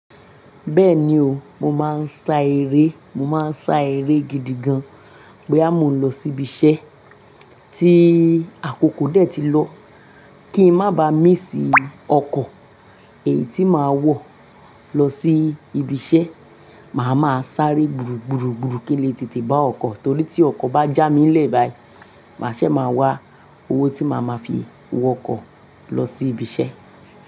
Bẹ́ẹ̀ni o, mo máa ń sá eré, mo máa ń sá eré gidi gan. Bóyá mo lọ síbi iṣẹ́ tí àkókò dé tí lọ, kí n má ba míss ọkọ̀ èyí tí màá wọ̀ lọ sí ibi iṣẹ́. Màá ma sáré gburu, gburu, gburu kíló tètè bá ọkọ̀. Torí tí ọkọ̀ bá já mí lẹ̀ báyìí, màá ṣe máa wá owó tí màá máa fi wọ ọkọ̀ lọ sí ibi iṣẹ́